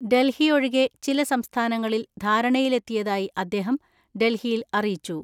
ഡൽഹിയൊഴികെ ചില സംസ്ഥാനങ്ങളിൽ ധാരണയിലെത്തിയതായി അദ്ദേഹം ഡൽഹിയിൽ അറിയിച്ചു.